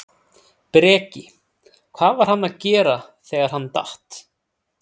Breki: Hvað var hann að gera þegar hann datt?